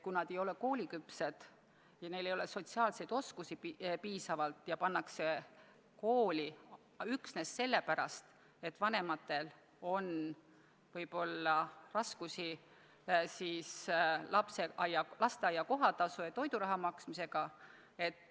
Kui nad aga ei ole kooliküpsed ja neil ei ole piisavaid sotsiaalseid oskusi ja nad pannakse kooli, siis võib see olla üksnes sellepärast, et vanematel on võib-olla raskusi lasteaia kohatasu ja toiduraha maksmisega.